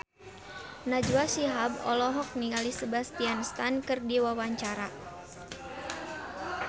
Najwa Shihab olohok ningali Sebastian Stan keur diwawancara